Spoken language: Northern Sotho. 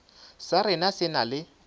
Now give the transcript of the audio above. sa rena se na le